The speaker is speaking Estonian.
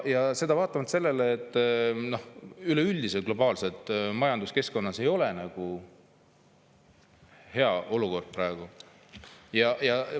Ja seda vaatamata sellele, et globaalses majanduskeskkonnas üleüldiselt ei ole praegu hea olukord.